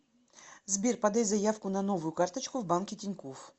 сбер подай заявку на новую карточку в банке тинькофф